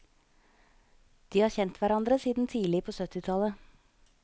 De har kjent hverandre siden tidlig på syttitallet.